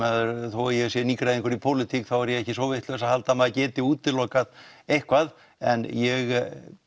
þó ég sé nýgræðingur í pólitík þá er ég ekki svo vitlaus að halda að maður geti útilokað eitthvað en ég